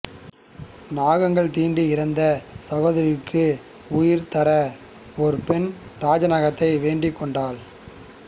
நாகங்கள் தீண்டி இறந்த சகோதர்களுக்கு உயிர் தர ஒரு பெண் நாகராஜனை வேண்டிக்கொண்டாள்